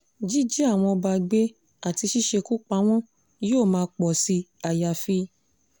jíjí àwọn ọba gbé àti ṣíṣekú pa wọ́n yóò máa pọ̀ sí àyàfi